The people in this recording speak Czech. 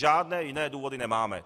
Žádné jiné důvody nemáme.